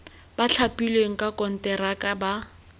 ba thapilweng ka konteraka ba